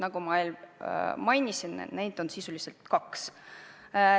Nagu ma mainisin, neid on sisuliselt kaks.